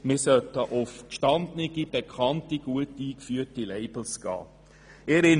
Wir sollten uns an gestandenen und gut eingeführten Labels orientieren.